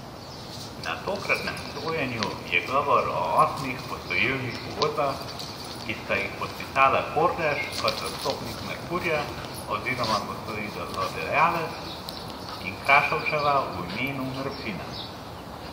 Na tokratnem sojenju je govor o osmih posojilnih pogodbah, ki sta jih podpisala Kordež kot zastopnik Merkurja oziroma posojilodajalec in Krašovčeva v imenu Merfina.